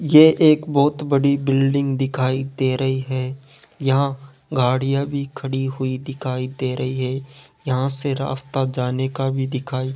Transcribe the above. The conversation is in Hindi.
ये एक बहोत बड़ी बिल्डिंग दिखाई दे रही है यहां गाड़ियां भी खड़ी हुई दिखाई दे रही है यहां से रास्ता जाने का भी दिखाई --